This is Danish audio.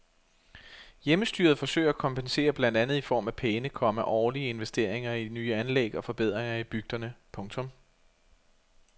Hjemmestyret forsøger at kompensere blandt andet i form af pæne, komma årlige investeringer i nye anlæg og forbedringer i bygderne. punktum